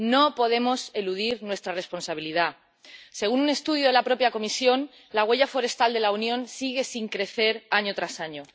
No podemos eludir nuestra responsabilidad. Según un estudio de la propia Comisión, la huella forestal de la Unión sigue sin crecer año tras año.